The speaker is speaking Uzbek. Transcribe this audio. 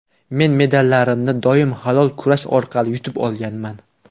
Men medallarimni doim halol kurash orqali yutib olganman.